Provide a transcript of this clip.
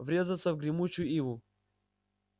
врезаться в гремучую иву